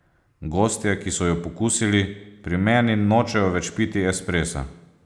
Gostje, ki so jo pokusili, pri meni nočejo več piti espressa.